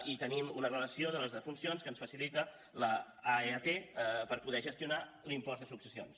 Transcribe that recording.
i tenim una relació de les defuncions que ens facilita l’aeat per poder gestionar l’impost de successions